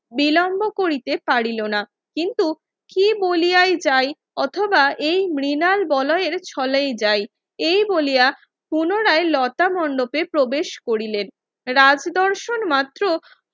বিলম্ব করিতে পারিল না কিন্তু কি বলিয়াই যাই অথবা এই মৃনাল বলয়ের ছলেই যাই এই বলিয়া পূরণায় লতা মণ্ডপে প্রবেশ করিলেন রাজদর্শন মাত্র